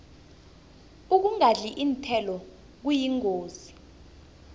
ukungadli iinthelo kuyingozi